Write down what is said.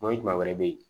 O ye juma wɛrɛ be yen